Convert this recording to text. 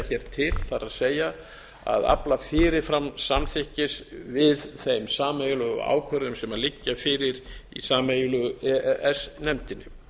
hér til það er að afla fyrir fram samþykkis við þeim sameiginlegu ákvörðunum sem liggja fyrir í sameiginlegu e e s nefndinni